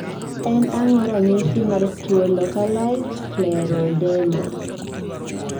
En ang'o ranyisi mar tuo Lacalized scleroderma?